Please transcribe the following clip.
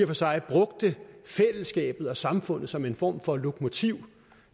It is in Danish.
for sig brugte fællesskabet og samfundet som en form for lokomotiv